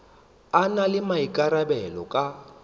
a na le maikarabelo ka